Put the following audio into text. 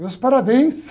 Meus parabéns!